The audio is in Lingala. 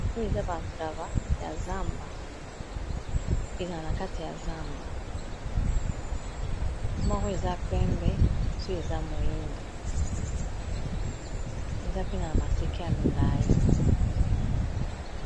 Oyo eza bantaba ya zamba, ezala na kati ya zamba, moko eza pembe mosusu eza mwindo eza pena ya maseke ya milayi.